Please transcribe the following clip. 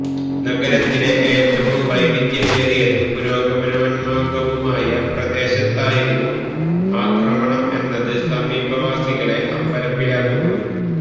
നഗരത്തിലെ ഏറ്റവും വൈവിധ്യമേറിയതും പുരോഗമനോന്മുഖവുമായ പ്രദേശത്തായിരുന്നു ആക്രമണം എന്നത് സമീപവാസികളെ അമ്പരപ്പിലാക്കുന്നു